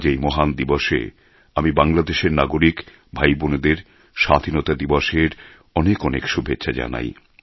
আজ এই মহান দিবসে আমি বাংলাদেশের নাগরিক ভাই বোনেদের স্বাধীনতা দেবসের অনেক অনেক শুভেচ্ছা জানাই